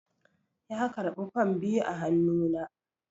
ya karɓi fam biyu a hannu na